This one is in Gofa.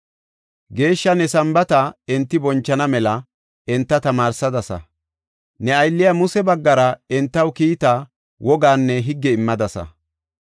Geeshsha ne Sambaata enti bonchana mela enta tamaarsadasa. Ne aylliya Muse baggara entaw kiita, wogaanne higge immadasa.